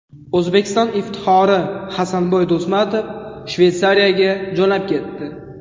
O‘zbekiston iftixori Hasanboy Do‘stmatov Shveysariyaga jo‘nab ketdi.